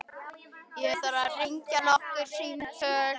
Ég þarf að hringja nokkur símtöl.